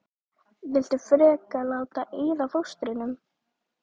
Viltu ekki frekar láta eyða fóstrinu?